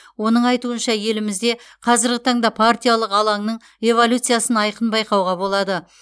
оның айтуынша елімізде қазіргі таңда партиялық алаңның эволюциясын айқын байқауға болады